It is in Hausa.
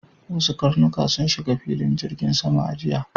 Wasu karnuka sun shiga filin jirgin sama a jiya.